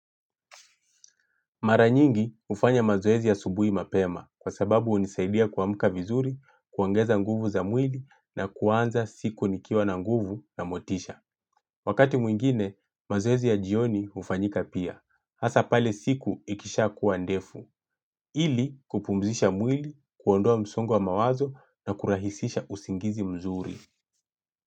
Maranyingi hufanya mazoezi ya subuhi mapema kwa sababu hunisaidia kuamka vizuri, kuongeza nguvu za mwili na kuanza siku nikiwa na nguvu na motisha. Wakati mwingine, mazoezi ya jioni hufanyika pia. Hasa pale siku ikisha kuwa ndefu. Ili kupumzisha mwili, kuondoa msongo wa mawazo na kurahisisha usingizi mzuri.